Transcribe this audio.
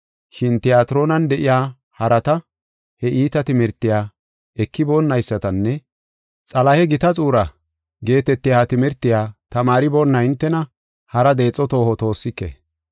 Shin Tiyatiroonan de7iya harata, he iita timirtiya ekiboonaysatanne, “Xalahe gita xuura” geetetiya ha timirtiya tamaariboonna hintena hara deexo tooho toossike.